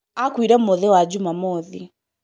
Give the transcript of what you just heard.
akuire mũthĩ wa jumamothi